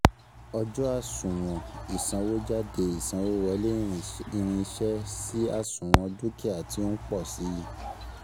Ọjọ́ Àsuwon Ìsanwójádé Ìsanwówọlé irinṣẹ́ sì àsuwon dúkìá tí ó ń pọ̀ sii